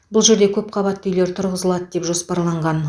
бұл жерде көпқабатты үйлер тұрғызылады деп жоспарланған